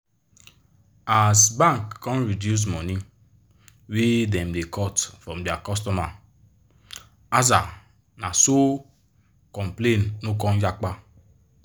as bank come reduce money wey dem da cut from dia cutomer aza na so complain no come yapa